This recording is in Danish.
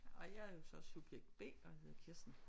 Og jeg er jo så subjekt B og hedder Kirsten